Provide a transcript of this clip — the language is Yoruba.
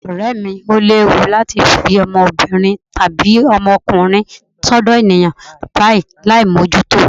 Ọ̀rẹ́ mi, ó léwu láti fi ọmọbìnrin tàbí ọmọkùnrin sọ́dọ̀ ènìyàn báyìí láì mójútó o.